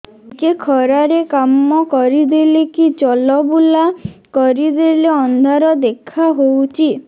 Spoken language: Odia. ଟିକେ ଖରା ରେ କାମ କରିଦେଲେ କି ଚଲବୁଲା କରିଦେଲେ ଅନ୍ଧାର ଦେଖା ହଉଚି